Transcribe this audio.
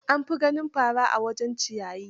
An fi ganin fara a wajen ciyayi.